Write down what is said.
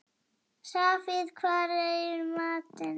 Safír, hvað er í matinn?